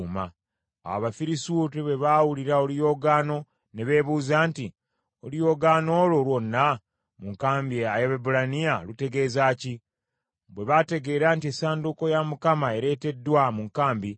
Awo Abafirisuuti bwe baawulira oluyoogaano ne beebuuza nti, “Oluyoogaano olwo lwonna mu nkambi ey’Abaebbulaniya lutegeeza ki?” Bwe baategeera nti essanduuko ya Mukama ereeteddwa mu nkambi,